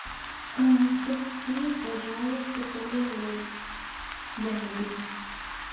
купи пожалуйста полироль для мебели